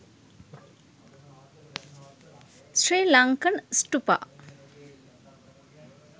sri lankan stupa